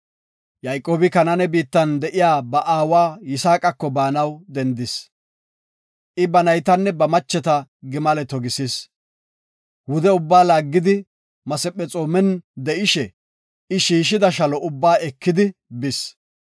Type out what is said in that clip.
Yayqoobi Kanaane biittan de7iya ba aawa Yisaaqako baanaw dendis. I ba naytanne ba macheta gimale togisis. Wude ubba laaggidi, Masephexoomen de7ishe shiishida shalo ubba ekidi bis.